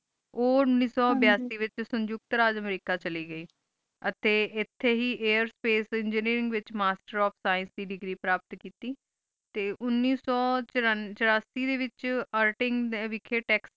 ਉਨੀਸ ਸ ਬੀਸੀ ਵਿਚ Sਊਣਖ਼ ਟੀ ਰਾਜ ਅਮਰੀਕਾ ਚਲੀ ਗਈ ਅਠੀ ਹੀ ਏਅਰ Sਪਕੇ ਏਨ੍ਗੀਨੀਰਿੰਗ ਵਿਚ ਮਾਸਟਰ ਓਫ ਈਣ ਦੀ ਦੇਗ੍ਰੀ ਪ੍ਰੋਫਿਤ ਕੀਤੀ ਟੀ ਉਨੀਸ ਸੋ ਚਰਾਸੀ ਡੀ ਵਿਚ ਅਰ੍ਟਿੰਗ ਵਿਖ੍ਯ ਤੇਕ੍ਸ੍ਤੀਲੇ